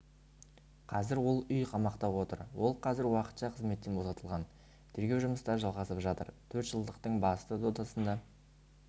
қазір ол үйқамақта отыр ол қазір уақытша қызметтен босатылған тергеу жұмыстары жалғасып жатыр төртжылдықтың басты додасында